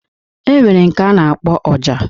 E nwere nke a na-akpọ Ọjà.